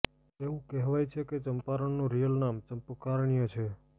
એવું કહેવાય છે કે ચંપારણનું રિયલ નામ ચંપકારણ્ય છે